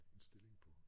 En stilling på